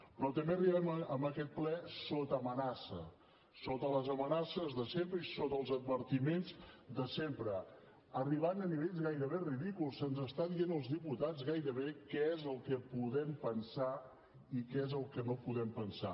però també arribem a aquest ple sota amenaça sota les amenaces de sempre i sota els advertiments de sempre arribant a nivells gairebé ridículs se’ns està dient als diputats gairebé què és el que podem pensar i què és el que no podem pensar